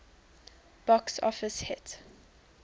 box office hit